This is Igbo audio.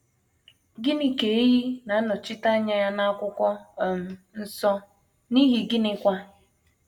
Gịnị ka ehi na - anọchite anya ya n’Akwụkwọ um Nsọ, n’ihi gịnịkwa?